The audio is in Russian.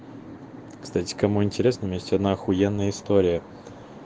кстати кому интересно у меня есть одна ахуенная история